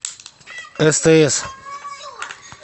стс